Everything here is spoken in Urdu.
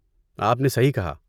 آپ نے صحیح کہا۔